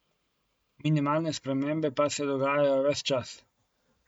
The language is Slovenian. Minimalne spremembe pa se dogajajo ves čas.